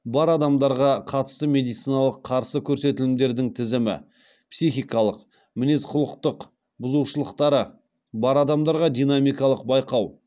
бар адамдарға қатысты медициналық қарсы көрсетілімдердің тізімі психикалық мінез құлықтық бұзылушылықтары бар адамдарға динамикалық байқау